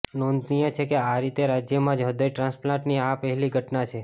નોંધનીય છે કે આ રીતે રાજ્યમાં જ હૃદય ટ્રાન્સપ્લાન્ટની આ પહેલી ઘટના છે